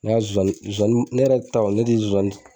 Ne ya zozani zozani ne yɛrɛ taw ne de ye zozani